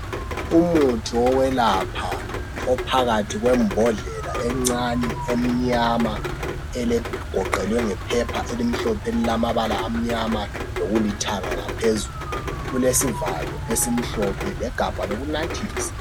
umuthi wokwelapha ophakathi kwembondlela encane emnyama egoqelwe ngephepha elimhlophe elilamabala amnyama lokulithanga ngaphezulu kulesivalo esimhlophe legabha lokunathisa